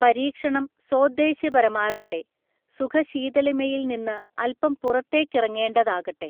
പരീക്ഷണം സോദ്ദേശ്യപരമാകട്ടെ, സുഖശീതളിമയില് നിന്ന് അല് പം പുറത്തേക്കിറങ്ങേണ്ടതാകട്ടെ.